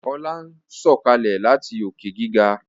Ola ń Sọkalẹ láti Òkè-gíga